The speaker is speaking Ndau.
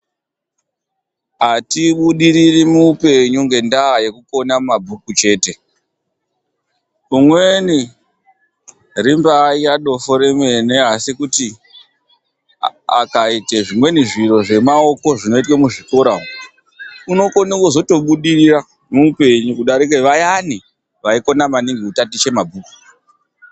Atibudiriri muupenyu ngendaa yekukona mabhuku chete. Kumweni rimbaari dofo, akaita zvimweni zvemaoko zvinoitwe mumazvikora umwu, unokone kuzotobudirira kudarika vayani vaikone maningi kutatiche mabhuku.